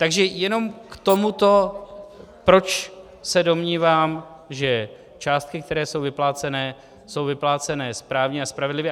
Takže jenom k tomuto, proč se domnívám, že částky, které jsou vyplácené, jsou vyplácené správně a spravedlivě.